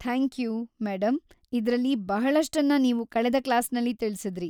Thank you, madam, ಇದ್ರಲ್ಲಿ ಬಹಳಷ್ಟನ್ನ ನೀವು ಕಳೆದ ಕ್ಲಾಸಿನಲ್ಲಿ ತಿಳಿಸಿದ್ರಿ.